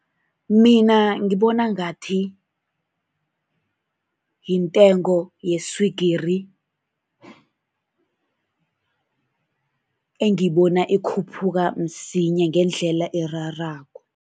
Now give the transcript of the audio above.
Mina ngibona ngathi yintengo yeswigiri, engibona ikhuphuka msinya ngendlela erarako.